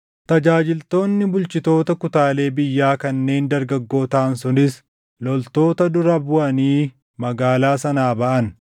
Tajaajiltoonni bulchitoota kutaalee biyyaa kanneen dargaggoo taʼan sunis loltoota dura buʼanii magaalaa sanaa baʼan;